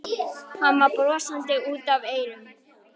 Hann var brosandi út að eyrum.